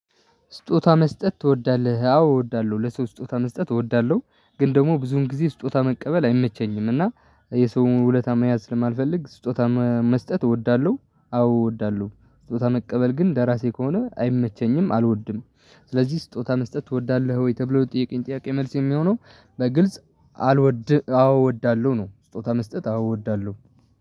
ስጦታ መስጠት ትወዳለህ? አዎ እወዳለሁ ለሰው ስጦታ መስጠት እወዳለሁ። ግን ደግሞ ብዙን ጊዜ ስጦታ መቀበል አይመቸኝም እና የሰውን ውለታ መያዝ ስለማልፈልግ ስጦታ መ መስጠት እወዳለሁ። አዎ እወዳለሁ ስጦታ መቀበል ግን ለራሴ ከሆነ አይመቸኝም አልወድም። ስለዚህ ስጦታ መስጠት ትወዳለህ ወይ ተብሎ ለጠየቀኝ ጥያቄ መልስ የሚሆነው። በግልጽ አልወድም አዎ እወዳለሁ ነው። ስጦታ መስጠት አዎ እወዳለሁ።